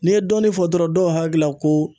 N'i ye dɔnni fɔ dɔrɔn dɔw hakili la ko